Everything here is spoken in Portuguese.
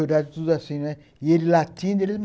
os soldados tudo assim, e ele latindo.